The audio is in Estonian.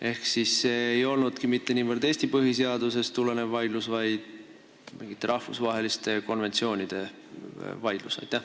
Ehk siis see ei olnudki mitte niivõrd Eesti põhiseadusest tulenev vaidlus, vaid mingite rahvusvaheliste konventsioonide vaidlus?